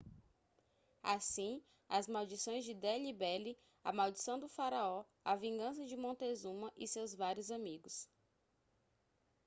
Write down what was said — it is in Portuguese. assim as maldições de delhi belly a maldição do faraó a vingança de montezuma e seus vários amigos